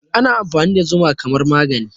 Ana amfani da zuma kamar magani